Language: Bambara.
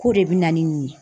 K'o de bɛ na ni nin ye